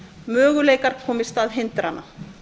möguleikar koma í stað hindrana